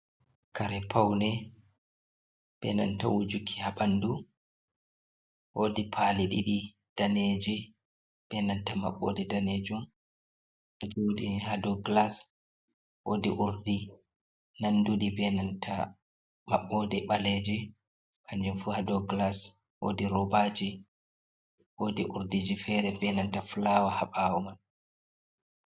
Kare paune benanta wujuki ha ɓandu woodi pali ɗiɗi daneji benanta maɓɓode danejum ɓe jo'ini ha dou gilas woodi urdi nanduɗi benanta maɓɓode ɓaleji kanjum fu ha dou gilas woodi robajii woodi urdiji fere benanta fulawa ha ɓawo.